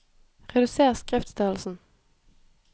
Reduser skriftstørrelsen